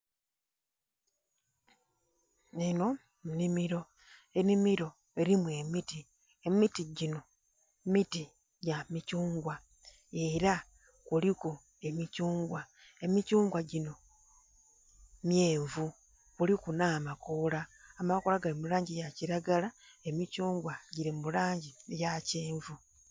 Enho enhimiro, enhimiro erimu emiti, emiti ginho miti gya mikyungwa era kuliku emikyungwa, emikungwa ginho, myenvu kiriku nh'amakoola, amakoola gali mi langi yakiragala, emikyungwa giri mu langi eya kyenvu.